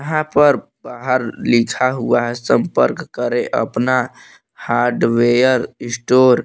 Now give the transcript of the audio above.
यहां पर बाहर लिखा हुआ है संपर्क करें अपना हार्डवेयर स्टोर ।